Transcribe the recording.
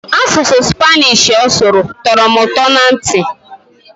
Asụsụ Spanish ọ sụrụ tọrọ m ụtọ na ntị.